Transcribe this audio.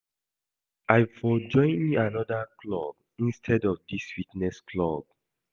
I for go join another club instead of dis fitness club